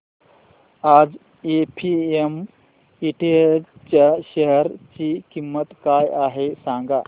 आज APM industries च्या share ची किंमत काय आहे सांगा